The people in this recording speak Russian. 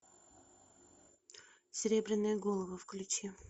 серебряные головы включи